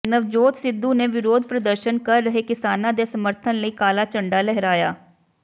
ਨਵਜੋਤ ਸਿੱਧੂ ਨੇ ਵਿਰੋਧ ਪ੍ਰਦਰਸ਼ਨ ਕਰ ਰਹੇ ਕਿਸਾਨਾਂ ਦੇ ਸਮਰਥਨ ਲਈ ਕਾਲਾ ਝੰਡਾ ਲਹਿਰਾਇਆ